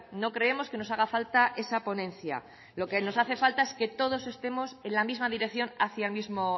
no creemos que nos haga falta esa ponencia lo que nos hace falta es que todos estemos en la misma dirección hacia el mismo